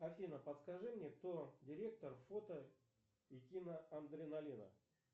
афина подскажи мне кто директор фото и кино адреналина